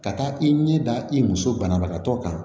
Ka taa i ɲɛda i muso banabagatɔ kan